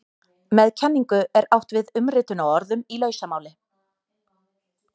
Með kenningu er átt við umritun á orðum í lausamáli.